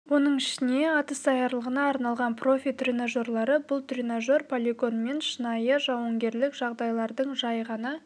оның ішінде атыс даярлығына арналған профи тренажеры бұл тренажер полигон мен шынайы жауынгерлік жағдайлардың жай ғана